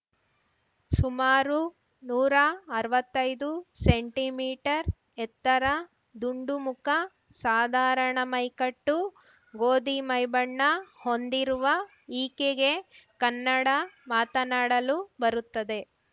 ಸುಮಾರು ನೂರಾ ಅರ್ವತ್ತೈದು ಸೆಂಟಿಮೀಟರ್ ಎತ್ತರ ದುಂಡು ಮುಖ ಸಾಧಾರಣ ಮೈಕಟ್ಟು ಗೋಧಿ ಮೈಬಣ್ಣ ಹೊಂದಿರುವ ಈಕೆಗೆ ಕನ್ನಡ ಮಾತನಾಡಲು ಬರುತ್ತದೆ